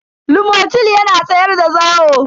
lomotil yana tsayar da zawo.